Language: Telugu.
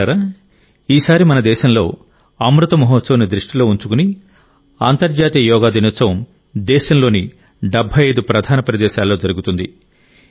మిత్రులారా ఈసారి మన దేశంలో అమృత్ మహోత్సవ్ను దృష్టిలో ఉంచుకుని అంతర్జాతీయ యోగా దినోత్సవం దేశంలోని 75 ప్రధాన ప్రదేశాలలో జరుగుతుంది